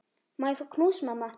Má ég fá knús, mamma?